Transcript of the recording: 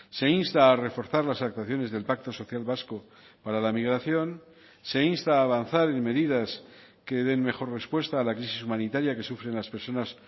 se insta a reforzar las actuaciones del pacto social vasco para la migración se insta a avanzar en medidas que den mejor respuesta a la crisis humanitaria que sufren las personas